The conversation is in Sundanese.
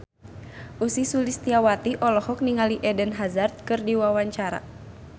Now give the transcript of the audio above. Ussy Sulistyawati olohok ningali Eden Hazard keur diwawancara